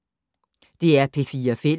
DR P4 Fælles